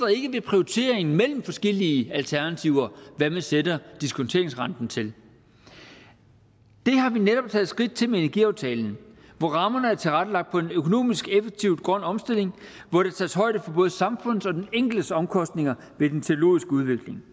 ikke ved prioriteringen mellem forskellige alternativer hvad man sætter diskonteringsrenten til det har vi netop taget skridt til med energiaftalen hvor rammerne er tilrettelagt på en økonomisk effektiv grøn omstilling hvor der tages højde for både samfundets og den enkeltes omkostninger ved den teknologiske udvikling